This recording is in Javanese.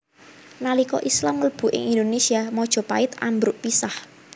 Nalika Islam mlebu ing Indonésia Majapahit ambruk pisah